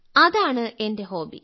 അതാണ് എന്റെ ഹോബി